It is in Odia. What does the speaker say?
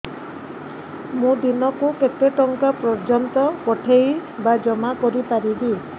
ମୁ ଦିନକୁ କେତେ ଟଙ୍କା ପର୍ଯ୍ୟନ୍ତ ପଠେଇ ବା ଜମା କରି ପାରିବି